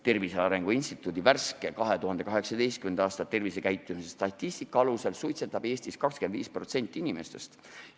Tervise Arengu Instituudi värske, 2018. aasta tervisekäitumise statistika alusel suitsetab Eestis 25% inimestest.